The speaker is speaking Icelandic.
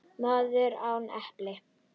Maður án pela